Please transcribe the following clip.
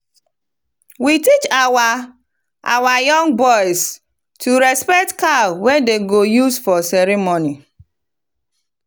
we teach our our young boys to respect cow wey dem go use for ceremony.